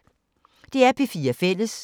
DR P4 Fælles